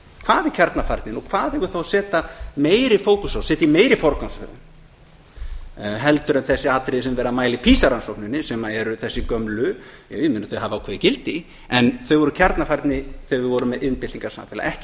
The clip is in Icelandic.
hvað er kjarnafærnin og hvað eigum við þá að setja meiri fókus á setja í meiri forgangsröðun en þessi atriði sem er verið að mæla í pisa rannsókninni sem eru þessi gömlu ég meina þau hafa ákveðið gildi en þau voru kjarnafærni þegar við vorum með iðnbyltingarsamfélagi ekki